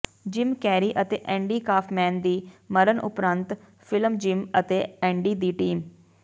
gym Carrey ਅਤੇ Andy Kaufman ਦੀ ਮਰਨ ਉਪਰੰਤ ਫਿਲਮ ਜਿਮ ਅਤੇ ਐਂਡੀ ਦੀ ਟੀਮ